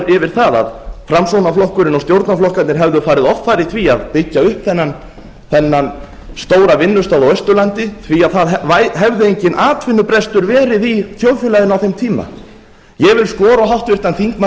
yfir það að framsóknarflokkurinn og stjórnarflokkarnir hefðu farið offari í því að byggja upp þennan stóra vinnustað á austurlandi því að það hefði enginn atvinnubrestur verið í þjóðfélaginu á þeim tíma ég vil skora á háttvirtan þingmann